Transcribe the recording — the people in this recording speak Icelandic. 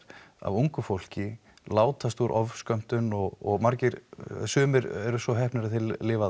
af ungu fólki látast úr ofskömmtum og sumir eru svo heppnir að þeir lifa